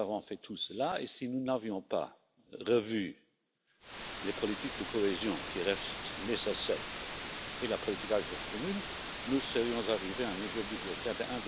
Nous avons fait tout cela, et si nous n'avions pas revu la politique de cohésion, qui reste nécessaire, et la politique agricole commune, nous serions arrivés à un niveau budgétaire de